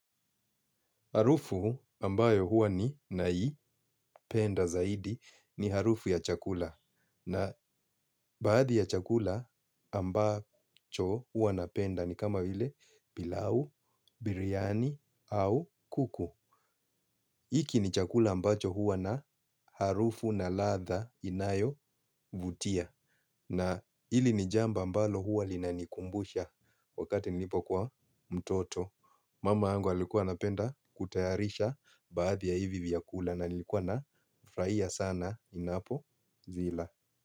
Harufu ambayo huwa ninaipenda zaidi, ni harufu ya chakula. Na baadhi ya chakula ambacho huwa napenda ni kama vile, pilau, biryani au kuku. Hiki ni chakula ambacho huwa na harufu na ladha inayovutia. Na hili ni jambo ambalo huwa linanikumbusha wakati nilipokuwa mtoto. Mama yangu alikuwa anapenda kutayarisha baadhi ya hivi vyakula na nilikuwa nafraia sana ninapozila.